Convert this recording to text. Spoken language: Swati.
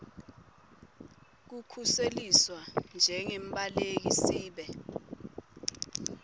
kukhuseliswa njengembaleki sibe